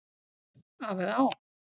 Af eða á?